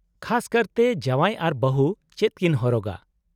-ᱠᱷᱟᱥ ᱠᱟᱨᱛᱮ, ᱡᱟᱶᱟᱭ ᱟᱨ ᱵᱟᱹᱦᱩ ᱪᱮᱫ ᱠᱤᱱ ᱦᱚᱨᱚᱜᱟ ?